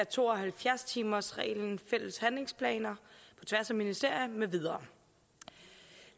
to og halvfjerds timersreglen fælles handlingsplaner på tværs af ministerier med videre